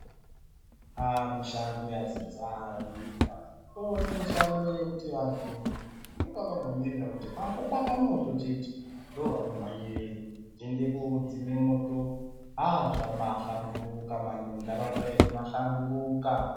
Aa mushando yazozara munyika kwaiva nemushando yekuti vanthu inga vakangomirira kuti pangobaka moto chete ndoovanomhanyireo voende kodzime moto aa zvambaahlamburuka mani muntharaunda yedu mahlamburuka.